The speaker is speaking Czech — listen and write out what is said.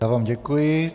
Já vám děkuji.